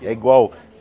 É igual.